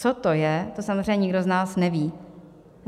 Co to je, to samozřejmě nikdo z nás neví.